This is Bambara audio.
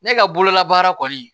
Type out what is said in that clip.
Ne ka bolola baara kɔni